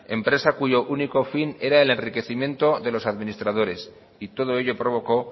empresa cuyo único fin era el enriquecimiento de los administradores y todo ello provocó